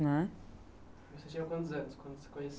né. Você tinha quantos anos quando você conheceu